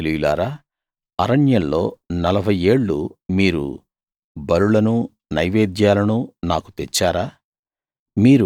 ఇశ్రాయేలీయులారా అరణ్యంలో నలభై ఏళ్ళు మీరు బలులనూ నైవేద్యాలనూ నాకు తెచ్చారా